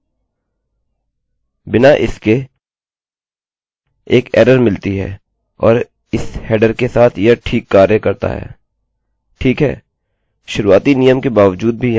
अतः बिना इसके हमें एक एररpauseमिलती है और इस हेडरheaderके साथ यह ठीक कार्य करता है ठीक है